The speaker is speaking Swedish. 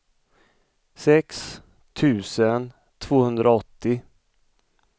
sex tusen tvåhundraåttio